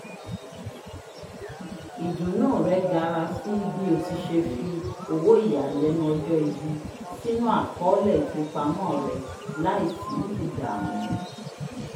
idunnu rẹ gara sí bi oti ṣe fi owo iyalẹnu ọjọ-ibi sinu akọọlẹ ifipamọ rẹ láì sí ìdààmú